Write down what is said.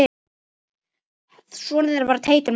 Sonur þeirra er Teitur Magnús.